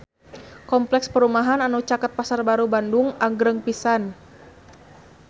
Kompleks perumahan anu caket Pasar Baru Bandung agreng pisan